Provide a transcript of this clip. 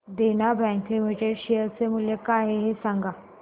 देना bank limited share चे मूल्य काय आहे हे सांगा